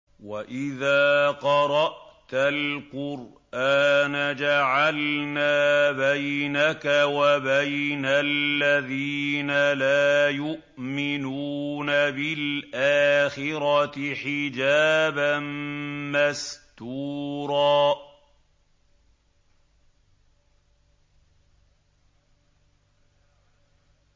وَإِذَا قَرَأْتَ الْقُرْآنَ جَعَلْنَا بَيْنَكَ وَبَيْنَ الَّذِينَ لَا يُؤْمِنُونَ بِالْآخِرَةِ حِجَابًا مَّسْتُورًا